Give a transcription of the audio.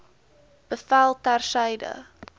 bevel ter syde